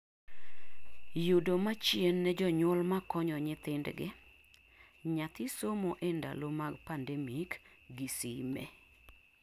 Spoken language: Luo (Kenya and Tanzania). yudo machien ne jonyuol makonyo nyithindgi - nyathi somo e ndalo mag pandemic gi sime